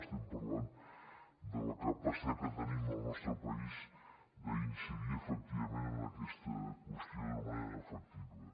estem parlant de la capacitat que tenim al nostre país d’incidir efectivament en aquesta qüestió d’una manera efectiva